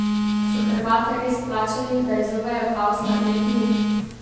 So Hrvate res plačali, da izzovejo kaos na tekmi?